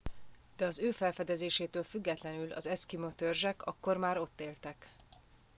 de az ő felfedezésétől függetlenül az eszkimó törzsek akkor már ott éltek